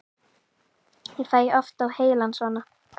Ég fæ oft á heilann svona.